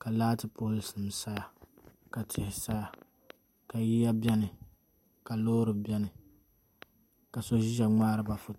ka laati pool nim saya ka tihi saya ka yiya biɛni ka loori biɛni ka so ʒiya ŋmaariba foto